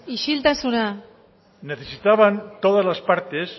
isiltasuna necesitaban todas las partes